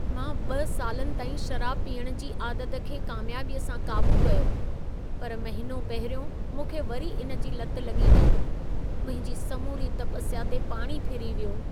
मां 2 सालनि ताईं शराब पीअण जी आदत खे कामयाबीअ सां क़ाबू कयो। पर महिनो पहिरियों मूंखे वरी इन जी लत लॻी वेई। मुंहिंजी समूरी तपस्या ते पाणी फिरी वियो।